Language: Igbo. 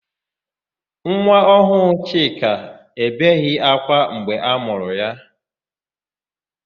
Nwa ọhụụ Chika ebeghị ákwá mgbe a mụrụ ya.